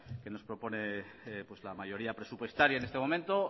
que nos propone la mayoría presupuestaria en este momento